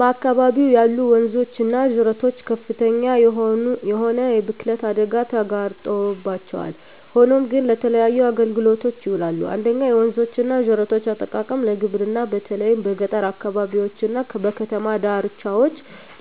በአካባቢው ያሉ ወንዞች እና ጅረቶች ከፍተኛ የሆነ የብክለት አደጋ ተጋርጦባቸዋል፣ ሆኖም ግን ለተለያዩ አገልግሎቶች ይውላሉ። 1. የወንዞች እና ጅረቶች አጠቃቀም ለግብርና በተለይም በገጠር አካባቢዎች እና በከተማ ዳርቻዎች